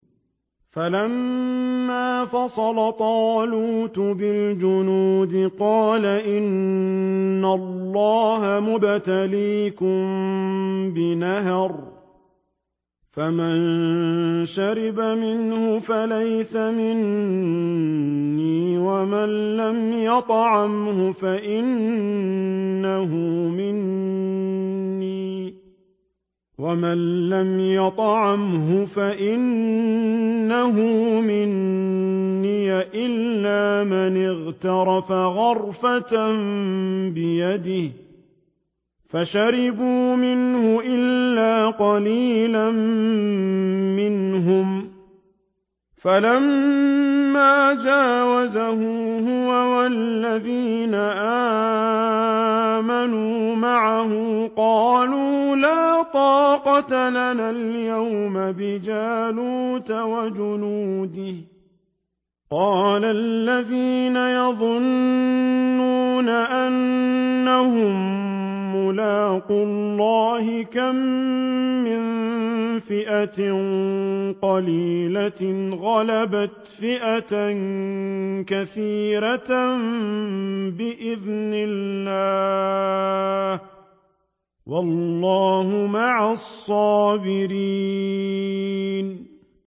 فَلَمَّا فَصَلَ طَالُوتُ بِالْجُنُودِ قَالَ إِنَّ اللَّهَ مُبْتَلِيكُم بِنَهَرٍ فَمَن شَرِبَ مِنْهُ فَلَيْسَ مِنِّي وَمَن لَّمْ يَطْعَمْهُ فَإِنَّهُ مِنِّي إِلَّا مَنِ اغْتَرَفَ غُرْفَةً بِيَدِهِ ۚ فَشَرِبُوا مِنْهُ إِلَّا قَلِيلًا مِّنْهُمْ ۚ فَلَمَّا جَاوَزَهُ هُوَ وَالَّذِينَ آمَنُوا مَعَهُ قَالُوا لَا طَاقَةَ لَنَا الْيَوْمَ بِجَالُوتَ وَجُنُودِهِ ۚ قَالَ الَّذِينَ يَظُنُّونَ أَنَّهُم مُّلَاقُو اللَّهِ كَم مِّن فِئَةٍ قَلِيلَةٍ غَلَبَتْ فِئَةً كَثِيرَةً بِإِذْنِ اللَّهِ ۗ وَاللَّهُ مَعَ الصَّابِرِينَ